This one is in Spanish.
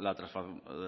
la